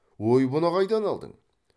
ой бұны қайдан алдың